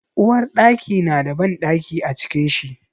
Uwarɗaki na da bandaki a cikin shi.